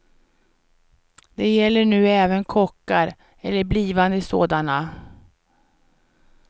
Det gäller nu även kockar, eller blivande sådana.